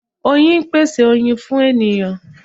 Oyin pese oyin fun eniyan